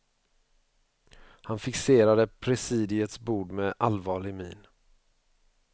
Han fixerade presidiets bord med allvarlig min.